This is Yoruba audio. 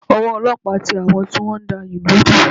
Ọwọ́ ọlọ́pàá tẹ àwọn tí wọ́n ń da ìlú rú